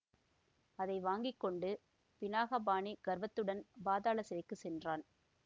அதை வாங்கி கொண்டு பினாகபாணி கர்வத்துடன் பாதாள சிறைக்கு சென்றான்